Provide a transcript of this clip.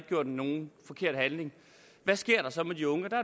gjort nogen forkert handling hvad sker der så med de unge